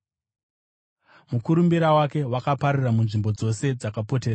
Mukurumbira wake wakapararira munzvimbo dzose dzakapoteredza.